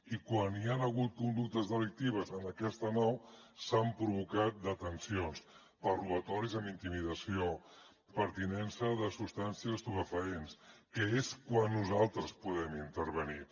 i quan hi han hagut conductes delictives en aquesta nau s’han provocat detencions per robatoris amb intimidació per tinença de substàncies estupefaents que és quan nosaltres podem intervenir